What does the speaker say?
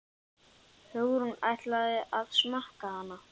Hugrún: Ætlarðu að smakka hana?